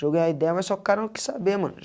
Joguei a ideia, mas só que o cara não quis saber, mano.